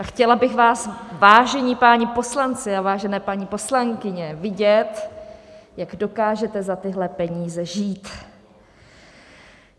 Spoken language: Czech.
A chtěla bych vás, vážení páni poslanci a vážené paní poslankyně, vidět, jak dokážete za tyhle peníze žít.